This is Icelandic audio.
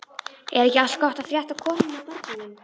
Er ekki allt gott að frétta af konunni og börnunum?